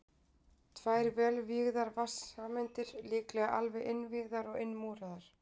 Tvær vel vígðar vatnssameindir, líklega alveg innvígðar og innmúraðar.